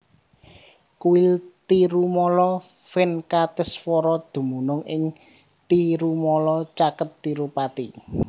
Kuil Tirumala Venkateswara dumunung ing Tirumala caket Tirupati